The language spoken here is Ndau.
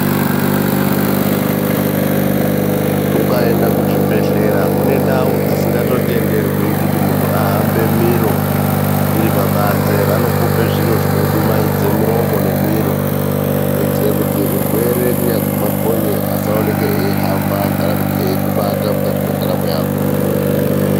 Ukaenda kuzvibhehlera kune ndau dzisingatotenderwi kuti muntu ahambe miro iripabanze. Vanokupa zviro zvinodumaidze muromo nemiro kuitire kuti urwere kunyazwi makonye asaoneke eihamba kana kuti eikubata mukati mwendaramo yako.